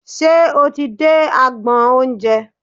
Ṣe o ti dé agbọn oúnjẹ?